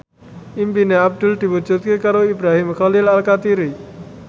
impine Abdul diwujudke karo Ibrahim Khalil Alkatiri